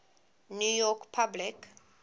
new york public